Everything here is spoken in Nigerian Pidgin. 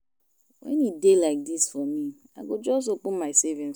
Wen e dey like dis for me I go just open my savings